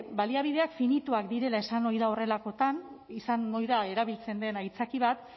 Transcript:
baliabideak finituak direla esan ohi da horrelakoetan izan ohi da erabiltzen den aitzaki bat